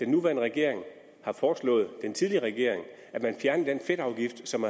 nuværende regering har foreslået den tidligere regering at man fjerner den fedtafgift som